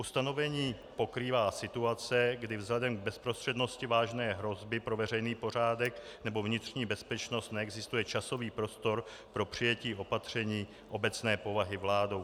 Ustanovení pokrývá situace, kdy vzhledem k bezprostřednosti vážné hrozby pro veřejný pořádek nebo vnitřní bezpečnost neexistuje časový prostor pro přijetí opatření obecné povahy vládou.